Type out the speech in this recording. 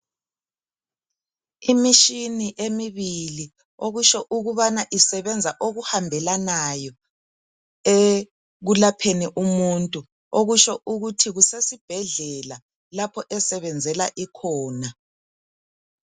Imitshini emibili okutsho ukubana isebenza okuhambelanayo ekulapheni umuntu okutsho ukuthi kusesibhedlela lapho esebenzela ikhona.